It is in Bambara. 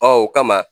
Ɔ o kama